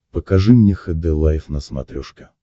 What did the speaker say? покажи мне хд лайф на смотрешке